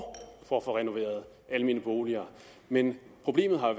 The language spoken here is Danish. for at få renoveret almene boliger men problemet har